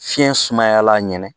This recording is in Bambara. Fiɲɛ sumayala ɲɛnɛn.